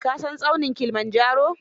Ka san tsaunin kilimanjaro?